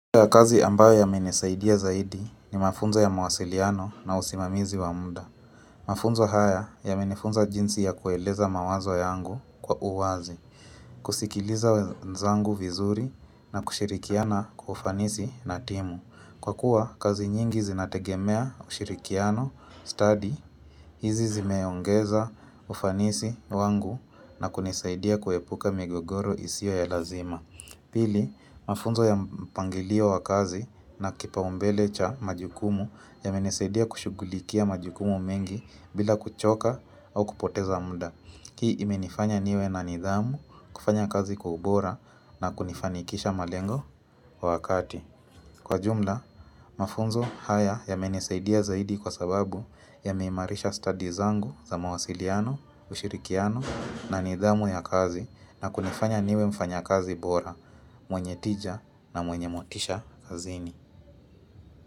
Kazi ambayo imenisaidia zaidi ni mafunzo ya mawasiliano na usimamizi wa muda. Mafunzo haya yamenifunza jinsi ya kueleza mawazo yangu kwa uwazi, kusikiliza wenzangu vizuri na kushirikiana kwa ufanisi na timu. Kwa kuwa, kazi nyingi zinategemea ushirikiano, study, hizi zimeongeza ufanisi wangu na kunisaidia kuepuka migogoro isiyo ya lazima. Pili, mafunzo ya mpangilio wa kazi na kipaumbele cha majukumu yamenisaidia kushughulikia majukumu mengi bila kuchoka au kupoteza muda. Hii imenifanya niwe na nidhamu kufanya kazi kwa ubora na kunifanikisha malengo wa wakati. Kwa jumla, mafunzo haya yamenesaidia zaidi kwa sababu yameimarisha studies zangu za mawasiliano, ushirikiano na nidhamu ya kazi na kunifanya niwe mfanya kazi bora. Mwenye tija na mwenye motisha kazini.